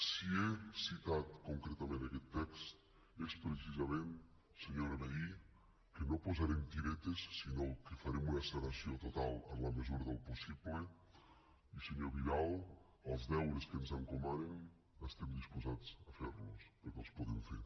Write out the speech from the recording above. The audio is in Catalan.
si he citat concretament aquest text és precisament senyora vehí que no posarem tiretes sinó que farem una sanació total en la mesura del possible i senyor vidal els deures que ens encomanen estem disposats a fer los perquè els podem fer